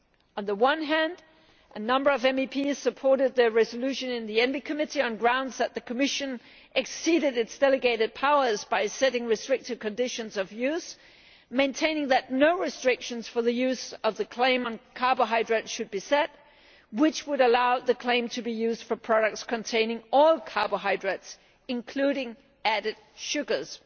On the one hand a number of MEPs supported their resolution in the Committee on the Environment, Public Health and Food Safety on the grounds that the Commission exceeded its delegated powers by setting restrictive conditions of use, maintaining that no restrictions for the use of the claim on carbohydrates should be set, which would allow the claim to be used for products containing all carbohydrates, including added sugars.